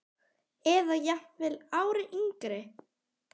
Eða jafnvel ári yngri.